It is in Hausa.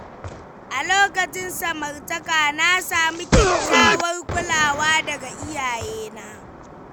A lokacin samartaka, na samu kyakkyawar kulawa daga iyaye na.